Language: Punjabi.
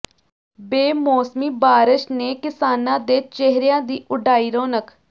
ਬੇਮੌਸਮੀ ਬਾਰਸ਼ ਨੇ ਕਿਸਾਨਾਂ ਦੇ ਚਿਹਰਿਆਂ ਦੀ ਉਡਾਈ ਰੌਣਕ